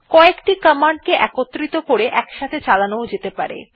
ক একটি কমান্ড কে একত্র করে একসাথে চালানো যেতে পারে